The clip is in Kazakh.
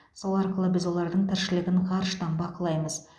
сол арқылы біз олардың тіршілігін ғарыштан бақылаймыз